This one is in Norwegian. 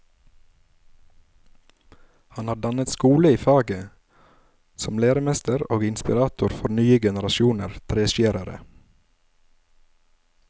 Han har dannet skole i faget, som læremester og inspirator for nye generasjoner treskjærere.